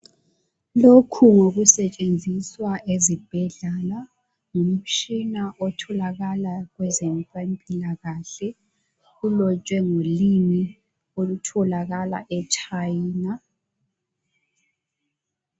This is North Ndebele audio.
Lokhu ngokusetshenziswa ezibhedlela umtshina otholakala kwezempilakahle ulotshwe ngolimi olutholakala eChina